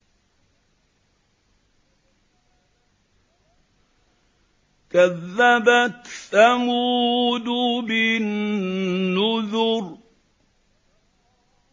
كَذَّبَتْ ثَمُودُ بِالنُّذُرِ